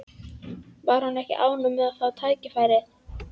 Var hún ekki ánægð með að fá tækifærið?